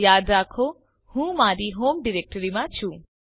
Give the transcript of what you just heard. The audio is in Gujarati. યાદ રાખો હું મારી હોમ ડિરેક્ટરીમાં છું